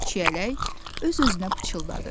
Çiyələk öz-özünə pıçıldadı.